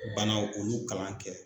Banaw ulu kalan kɛ.